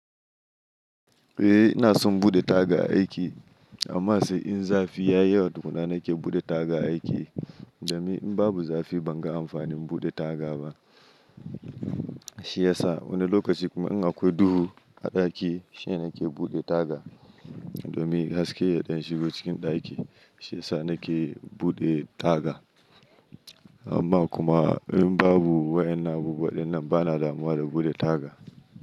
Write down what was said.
Eh ina son buɗe taga a aiki amma sai in zafi ya yayi yawa tukuna nake buɗe taga a aiki. Domin in babu zafi ban ga amfanin buɗe taga ba. Shi ya sa wani lokaci kuma in akwai duhu a ɗaki shi ne na ke buɗe taga domin haske ya ɗan shigo cikin ɗaki shi ya sa na ke buɗe taga. Amma kuma in babu wa'enan abubuwan dinnan ba na damuwa da buɗe taga.